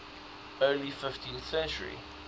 early fifteenth century